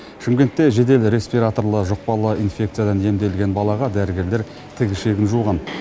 шымкентте жедел респираторлы жұқпалы инфекциядан емделген балаға дәрігерлер тік ішегін жуған